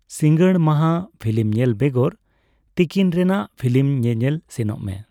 ᱥᱤᱸᱜᱟᱹᱲ ᱢᱟᱦᱜᱟ ᱯᱷᱤᱞᱤᱢ ᱧᱮᱞ ᱵᱮᱜᱚᱨ ᱛᱤᱠᱤᱱ ᱨᱮᱱᱟᱜ ᱯᱷᱤᱞᱤᱢ ᱧᱮᱧᱮᱞ ᱥᱮᱱᱚᱜ ᱢᱮ ᱾